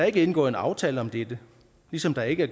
ikke indgået en aftale om dette ligesom der ikke